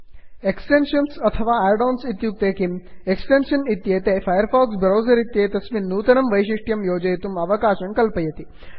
extension अथवा add ons इत्युक्ते किम्160 एक्स्टेन्षस् इत्येते फैर् फक्स् ब्रौसर् इत्येतस्मिन् नूतनं वैषिष्ट्यं योजितुं अवकाशं कल्पयति